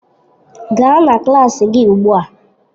Gaa na klas gị ugbu a!